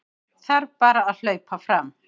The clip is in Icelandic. Þarf bara að hlaupa fram